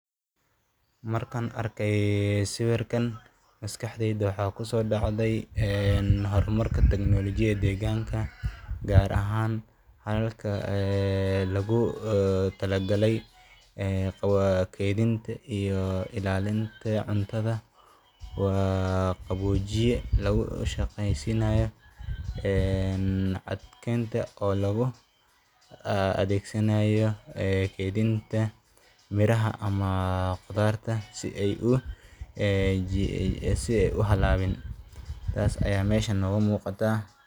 Markan arkey sawirkan, maskaxdeyda waxa kusodacdey een hormarka technology deqanka, gar ahaan dalalka ee logutalagay, ee kedhinta iyo ilaalinta cuntada , waa qawojiye logushageysinayo, een cadkenta oo loguadegsanayo kedhinta miraxa ama qudarta si ay u halabin, sas ayan meshan nogamuqata.